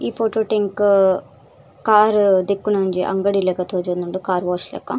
ಈ ಫೊಟೊ ಟು ಎಂಕ್ ಕಾರ್ ದೆಕ್ಕುನ ಒಂಜಿ ಅಂಗಡಿಲೆಕ ತೋಜೊಂದುಂಡು ಕಾರ್ ವಾಶ್ ಲೆಕ.